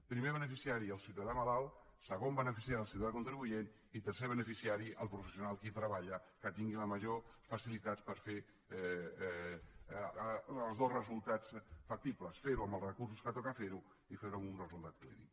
primer beneficiari el ciutadà malalt segon beneficiari el ciutadà contribuent i tercer beneficiari el professional que hi treballa que tingui la major facilitat per fer els dos resultats factibles fer ho amb els recursos que toca fer ho i fer ho amb un resultat clínic